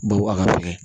Baw a ka fɛgɛn